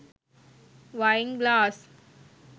වයින් glass